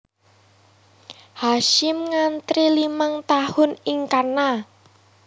Hasyim nyantri limang tahun ing kana